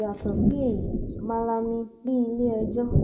yàtọ sí èyí malami ní iléẹjọ um